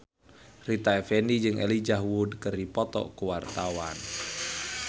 Rita Effendy jeung Elijah Wood keur dipoto ku wartawan